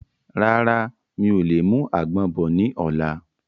Rárá, mi ò lè mú àgbọ̀n bọ̀ ni ọ̀la.